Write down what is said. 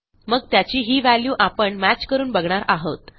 मग त्याची ही व्हँल्यू आपण मॅच करून बघणार आहोत